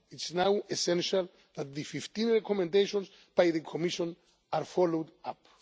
It is now essential that the 15 recommendations by the Commission are followed up.